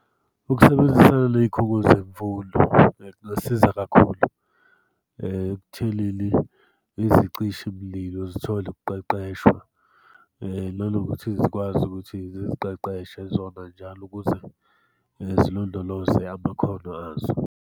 Ukusebenzisana ney'khungo zemfundo zisiza kakhulu ekuthenini izicishi mlilo zithole ukuqeqeshwa, nanokuthi zikwazi ukuthi ziziqeqeshe zona njalo ukuze zilondoloze amakhono azo.